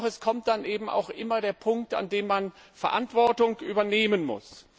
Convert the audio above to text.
Doch es kommt dann eben auch immer der Punkt, an dem man Verantwortung übernehmen muss.